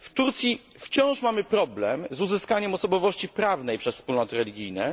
W Turcji wciąż mamy problem z uzyskaniem osobowości prawnej przez wspólnoty religijne.